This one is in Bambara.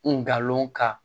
Ngalon ka